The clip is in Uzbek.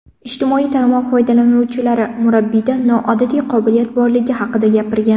Ijtimoiy tarmoq foydalanuvchilari murabbiyda noodatiy qobiliyat borligi haqida gapirgan.